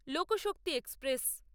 Lokshakti express